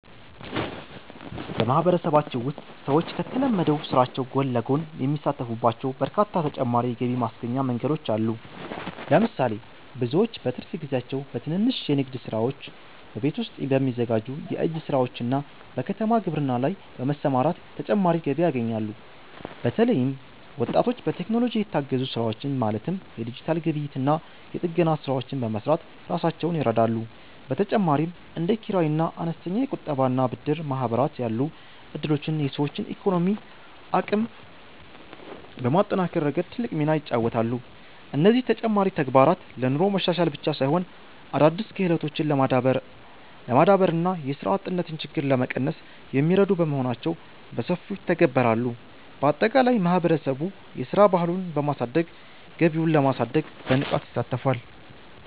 በማህበረሰባችን ውስጥ ሰዎች ከተለመደው ስራቸው ጎን ለጎን የሚሳተፉባቸው በርካታ ተጨማሪ የገቢ ማስገኛ መንገዶች አሉ። ለምሳሌ፣ ብዙዎች በትርፍ ጊዜያቸው በትንንሽ የንግድ ስራዎች፣ በቤት ውስጥ በሚዘጋጁ የእጅ ስራዎችና በከተማ ግብርና ላይ በመሰማራት ተጨማሪ ገቢ ያገኛሉ። በተለይም ወጣቶች በቴክኖሎጂ የታገዙ ስራዎችን ማለትም የዲጂታል ግብይትና የጥገና ስራዎችን በመስራት ራሳቸውን ይረዳሉ። በተጨማሪም እንደ ኪራይና አነስተኛ የቁጠባና ብድር ማህበራት ያሉ እድሎች የሰዎችን የኢኮኖሚ አቅም በማጠናከር ረገድ ትልቅ ሚና ይጫወታሉ። እነዚህ ተጨማሪ ተግባራት ለኑሮ መሻሻል ብቻ ሳይሆን፣ አዳዲስ ክህሎቶችን ለማዳበርና የስራ አጥነትን ችግር ለመቀነስ የሚረዱ በመሆናቸው በሰፊው ይተገበራሉ። ባጠቃላይ ማህበረሰቡ የስራ ባህሉን በማሳደግ ገቢውን ለማሳደግ በንቃት ይሳተፋል።